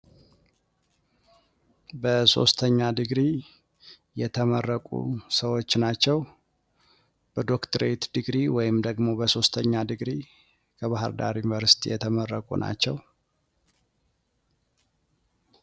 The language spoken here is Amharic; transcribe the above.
በሶስተኛ ዲግሪ የተመረቁ ሰዎች ናቸው። በዶክትሬት ዲግሪ ከባህር ዳር ዩኒቨርሲቲ የተመረቁ ናቸው ።